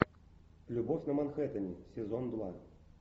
любовь на манхэттене сезон два